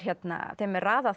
þeim er raðað